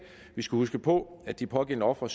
vi skal huske på at det pågældende offer